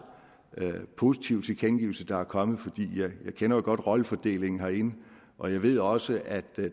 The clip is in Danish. positiv tilkendegivelse der er kommet for jeg kender jo godt rollefordelingen herinde og jeg ved også at